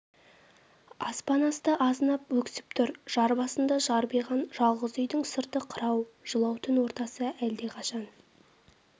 аспан асты азынап өксіп тұр жар басында жарбиған жалғыз үйдің сырты қырау жылау түн ортасы әлдеқашан